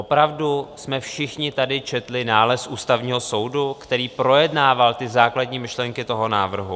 Opravdu jsme všichni tady četli nález Ústavního soudu, který projednával ty základní myšlenky toho návrhu?